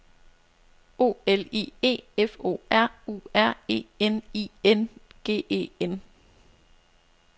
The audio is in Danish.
O L I E F O R U R E N I N G E N